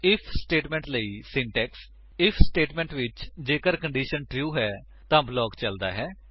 IF statement ਲਈ syntax IF statement ਵਿੱਚ ਜੇਕਰ ਕੰਡੀਸ਼ਨ ਟਰੂ ਹੈ ਤਾਂ ਬਲਾਕ ਚਲਦਾ ਹੈ